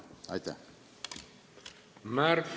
Aitäh!